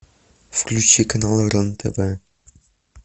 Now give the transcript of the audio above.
включи канал рен тв